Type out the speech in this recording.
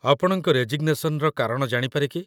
ଆପଣଙ୍କ ରେଜିଗ୍‌ନେସନ୍‌ର କାରଣ ଜାଣିପାରେ କି?